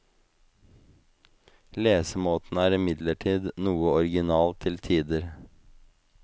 Lesemåten er imidlertid noe original til tider.